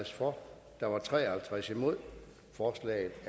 for ordet